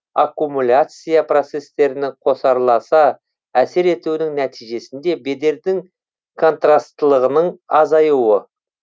аккумуляция процестерінің қосарласа әсер етуінің нәтижесінде бедердің контрастылығының азаюы